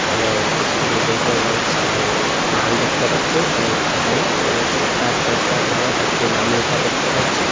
এবং ইস্কুলের গেইটের রং সান লাল দেখতে পাচ্ছি এবং এখানে আমি স্কার কনসার্ট নামের একটি নাম লেখা দেখতে পাচ্ছি।